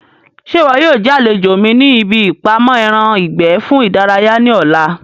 Ṣé ìwọ yóò jẹ́ àlejò mi ní ibi ìpamọ́ ẹran ìgbẹ́ fún ìdárayá ní ọ̀la?